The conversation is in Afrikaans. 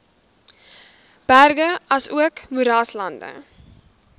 berge asook moeraslande